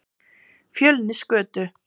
Fjölnisgötu